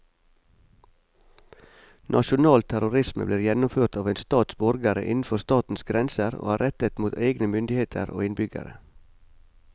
Nasjonal terrorisme blir gjennomført av en stats borgere innenfor statens grenser og er rettet mot egne myndigheter og innbyggere.